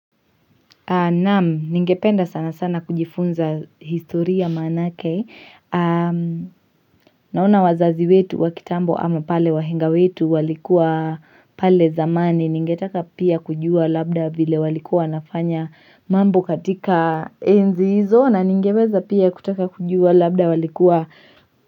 Naam, ningependa sana sana kujifunza historia manake. Naona wazazi wetu wa kitambo ama pale wahenga wetu walikuwa pale zamani ningetaka pia kujua labda vile walikuwa wanafanya mambo katika enzi hizo na ningeweza pia kutaka kujua labda walikuwa.